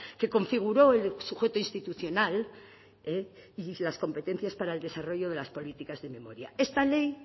que configuró el sujeto institucional y las competencias para el desarrollo de las políticas de memoria esta ley